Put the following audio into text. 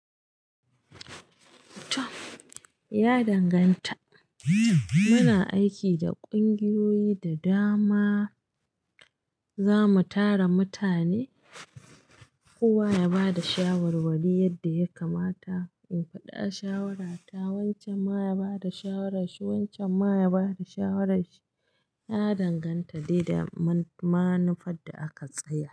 Ya danganta. Muna aiki da ƙungiyoyi, da dama za mu tara mutane. Kowa ya ba da shawarwari yadda ya kamata, in faɗa shawarata, wancan ma ya ba da shawarar shi, wancan ma ya ba da shawarar shi. Ya danganta dai da manufar da aka tsayar.